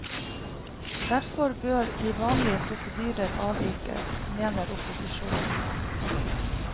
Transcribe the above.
Derfor bør de vanlige prosedyrer avvikes, mener opposisjonen.